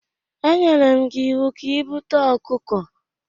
E nyere m gi iwu ka i bute okuko!